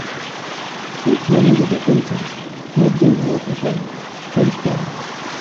if money wey dey enter no um de um dey enough again change plans